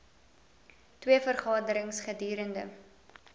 twee vergaderings gedurende